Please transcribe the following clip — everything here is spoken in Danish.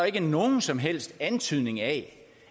ikke nogen som helst antydning af